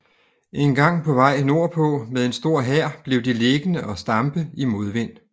En gang på vej nordpå med en stor hær blev de liggende og stampe i modvind